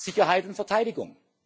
Sicherheit und Verteidigung.